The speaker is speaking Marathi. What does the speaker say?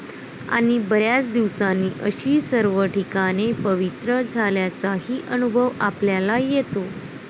आणि बऱ्याच दिवसांनी अशी सर्व ठिकाणे पवित्र झाल्याचाही अनुभव आपल्याला येतो.'